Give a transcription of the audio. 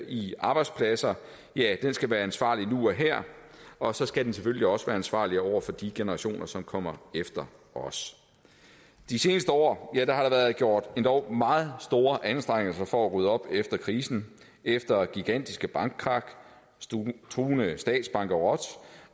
i arbejdspladser skal være ansvarlig nu og her og så skal den selvfølgelig også være ansvarlig over for de generationer som kommer efter os de seneste år har der været gjort endog meget store anstrengelser for at rydde op efter krisen efter gigantiske bankkrak truende statsbankerot